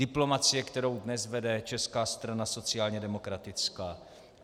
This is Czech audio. Diplomacie, kterou dnes vede Česká strana sociálně demokratická.